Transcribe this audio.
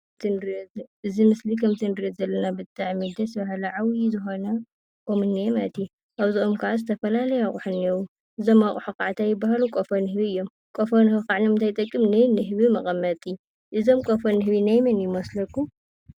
እዚ ምስሊ ከምዚ ንሪኦ ዘለና ብጣዕሚ ደስ በሃሊ ዓብይ ዝኾነ ኦም እኒአ ማለት እዩ፡፡ አብዚ ኦም ከዓ ዝተፈላለዩ አቑሑ እኒአው፡፡ እዞም አቑሑ ካዓኒ እንታይ ይበሃሉ? ቆፎ ንህቢ እዮም፡፡ ቆፎ ንህቢ ካዓ ንምንታይ ይጠቅም? ንንህቢ መቐመጢ፡፡ እዞም ቆፎ ንህቢ ናይ መን ይመስለኩም?